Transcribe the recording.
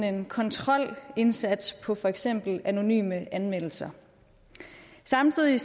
en kontrolindsats på for eksempel anonyme anmeldelser samtidig